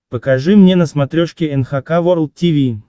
покажи мне на смотрешке эн эйч кей волд ти ви